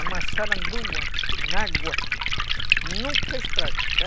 A maçarandua, na água, nunca extrai.